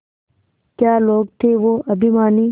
क्या लोग थे वो अभिमानी